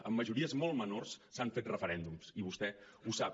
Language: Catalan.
amb majories molt menors s’han fet referèndums i vostè ho sap